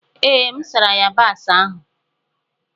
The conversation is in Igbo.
Ee, M sara yabasị ahụ.